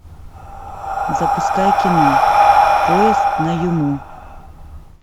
запускай кино поезд на юму